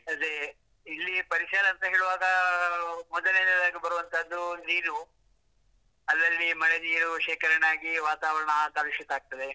ಅದೇ, ಇಲ್ಲಿಯ ಪರಿಸರ ಅಂತ ಹೇಳುವಾಗ ಮೊದಲನೆಯದಾಗಿ ಬರುವಂತದ್ದು ನೀರು, ಅಲ್ಲಲ್ಲಿ ಮಳೆ ನೀರು ಶೇಖರಣೆ ಆಗಿ ವಾತಾವರಣ ಕಲುಷಿತ ಆಗ್ತದೆ.